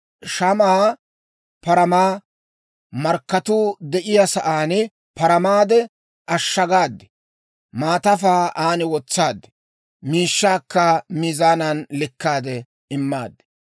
Shamaa paramaa markkatuu de'iyaa saan paramaade, ashagaade maatafaa an wotsaad; miishshaakka miizaanan likkaade immaad.